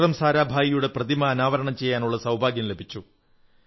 വിക്രം സാരാഭായിയുടെ പ്രതിമ അനാവരണം ചെയ്യാനുള്ള സൌഭാഗ്യം ലഭിച്ചു